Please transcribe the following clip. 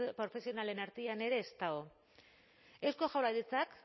profesionalen artean ere ez dago eusko jaurlaritzak